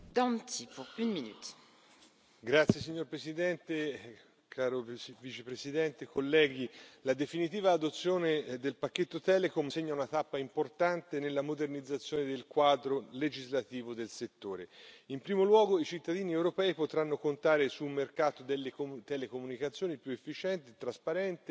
Signora Presidente, onorevoli colleghi, caro Vicepresidente, la definitiva adozione del pacchetto Telecom segna una tappa importante nella modernizzazione del quadro legislativo del settore. In primo luogo, i cittadini europei potranno contare su un mercato delle telecomunicazioni più efficiente e trasparente e con un migliore accesso ai servizi,